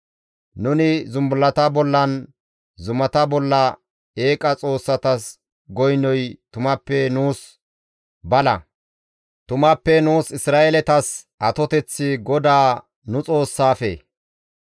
Nuni zumbullata bollanne zumata bolla eeqa xoossatas goynoy tumappe nuus bala; tumappe nuus Isra7eeletas atoteththi GODAA nu Xoossaafe.